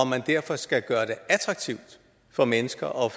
man derfor skal gøre det attraktivt for mennesker at